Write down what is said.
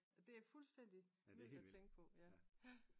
Det er fuldstændig vildt at tænke på ja